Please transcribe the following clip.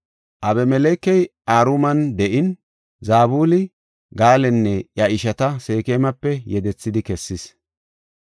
Abimelekey Aruman de7in, Zabuli Gaalanne iya ishata Seekemape yedethidi kessis.